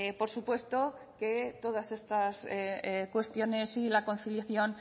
por supuesto que todas estas cuestiones y la conciliación